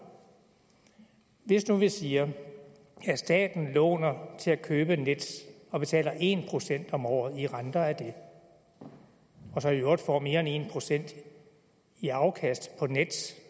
hvis nu vi siger at staten låner til at købe nets og betaler en procent om året i renter af det og så i øvrigt får mere end en procent i afkast på nets